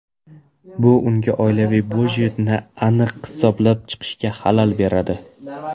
Bu unga oilaviy budjetni aniq hisoblab chiqishga xalal beradi.